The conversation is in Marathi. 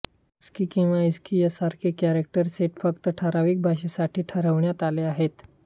आस्की किंवा इस्की यांसारखे कॅरॅक्टर सेट फक्त ठरावीक भाषेसाठी ठरवण्यात आले आहेत